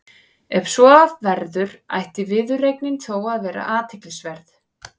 Ef svo verður ætti viðureignin þó að vera athyglisverð.